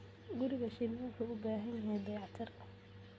Guriga shinni wuxuu u baahan yahay dayactir.